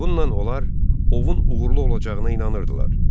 Bununla onlar ovun uğurlu olacağına inanırdılar.